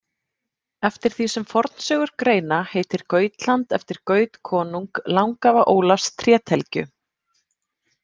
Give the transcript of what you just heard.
Eftir því sem fornsögur greina heitir Gautland eftir Gaut konung langafa Ólafs trételgju.